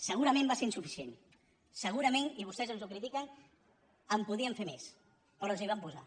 segurament va ser insuficient segurament i vostès ens ho critiquen podíem fer més però ens hi vam posar